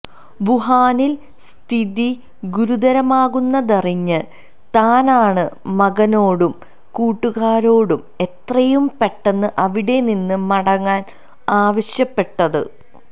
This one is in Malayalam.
വുഹാനിൽ സ്ഥിതി ഗുരുതരമാകുന്നതറിഞ്ഞ് താനാണ് മകനോടും കൂട്ടുകാരോടും എത്രയും പെട്ടെന്ന് അവിടെനിന്ന് മടങ്ങാൻ ആവശ്യപ്പെട്ടത്